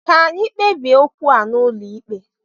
Ka anyị kpebie okwu a n'ụlọ ikpe!